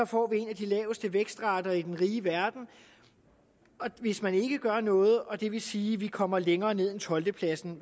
får en af de laveste vækstrater i den rige verden hvis man ikke gør noget og det vil sige at vi kommer længere ned end tolvte pladsen